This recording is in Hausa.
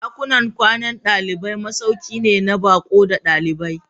Dakunan kwanan dalibai masauki ne na baƙo da ɗalibai.